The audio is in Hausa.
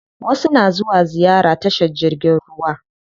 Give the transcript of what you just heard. Wasu na zuwa ziyara tashar jirgin ruwa.